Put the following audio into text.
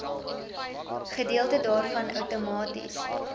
gedeelte daarvan outomaties